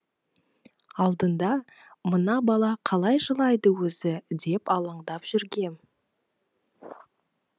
алдында мына бала қалай жылайды өзі деп алаңдап жүргем